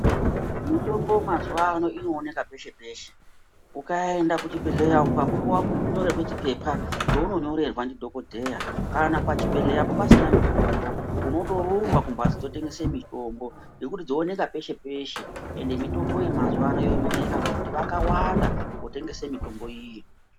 Mitombo mazuwa ano inooneka peshe peshe ukaenda kuchibhedhleya ukapuwa nyorerwe chipepa cheunonyorerwe ndi dhokodheya kana pachibhedleyapo pasina mitombo unondorumba kumhatso dzinotengese mitombo ngekuti dzoonekw peshe peshe ende mitombo iyi mazuwa ano yonyoreka ngekuti vakawanda vanotengese mitombo.